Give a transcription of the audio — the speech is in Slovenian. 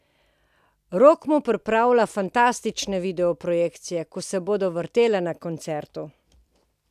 Rok mu pripravlja fantastične videoprojekcije, ki se bodo vrtele na koncertu.